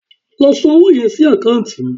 Lọ san owó yẹn sí àkáǹtì mi